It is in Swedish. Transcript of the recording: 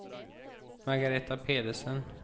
Margareta Pedersen